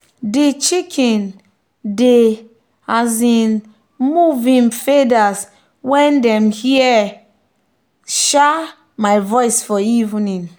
de chicken dey um move him feathers when them hear um my voice for evening.